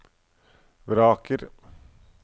vraker